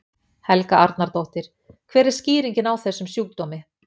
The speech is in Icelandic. Helga Arnardóttir: Hver er skýringin á þessum sjúkdómi?